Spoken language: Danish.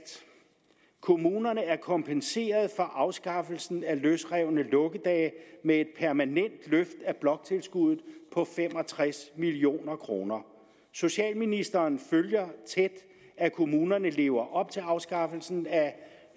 kommunerne er kompenseret for afskaffelsen af løsrevne lukkedage med et permanent løft af bloktilskuddet på fem og tres million kroner socialministeren følger tæt at kommunerne lever op til afskaffelsen